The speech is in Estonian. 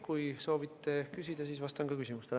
Kui soovite küsida, siis vastan küsimustele.